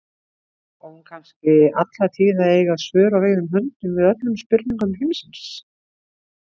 Á hún kannski alla tíð að eiga svör á reiðum höndum við öllum spurningum heimsins?